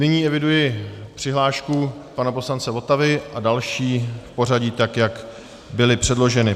Nyní eviduji přihlášku pana poslance Votavy a další v pořadí, tak jak byly předloženy.